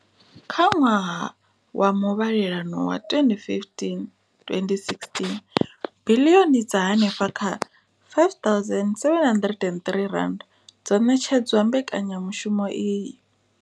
Kha ṅwaha wa muvhalelano wa 2015,16, biḽioni dza henefha kha R5 703 dzo ṋetshedzwa mbekanya mushumo iyi.